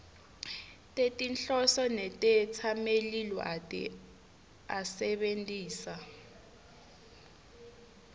tetinhloso netetsamelilwati asebentisa